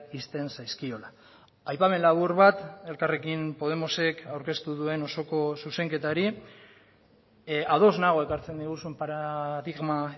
ixten zaizkiola aipamen labur bat elkarrekin podemosek aurkeztu duen osoko zuzenketari ados nago ekartzen diguzun paradigma